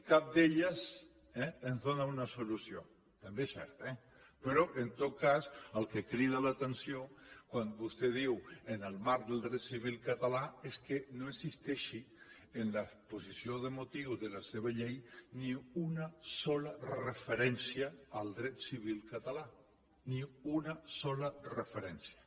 cap d’elles ens dóna una solució també és cert eh però en tot cas el que crida l’atenció quan vostè diu en el marc del dret civil català és que no existeixi en l’exposició de motius de la seva llei ni una sola referència al dret civil català ni una sola referència